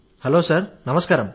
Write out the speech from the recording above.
hello sir నమస్కారం